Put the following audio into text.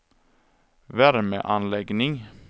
värmeanläggning